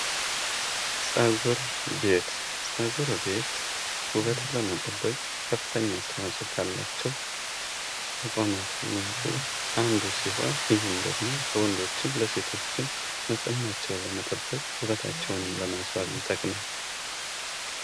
ፀጉር ቤት ፡-ፀጉር ቤት ውበትን ለመጠበቅ ከፍተኛ አስተዋጽኦ ካላቸው ተቋማት መካከል አንዱ ደግሞ ወንዶችም ለሴቶችም ንጽህናቸው እንደመጠበቅ ውበታቸውንም ለማስዋብ ይጠቅማል።